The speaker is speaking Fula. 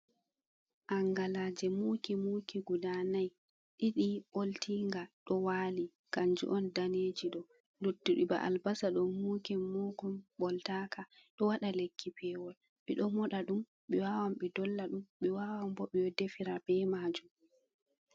Angalaje muki muki guda nai, ɗiɗi ɓoltinga ɗo wali kanjum on daneji ɗo, luttuɗi ba albasa ɗo muki mukun ɓoltaka ɗo waɗa lekki pewol, ɓe ɗo moɗa ɗum, ɓe wawan ɓe dolla ɗum, ɓe wawan bo ɓe defira be majum.